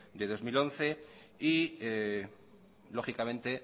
de dos mil once y lógicamente